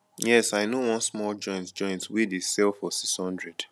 yes i know one small joint joint wey dey sell for 600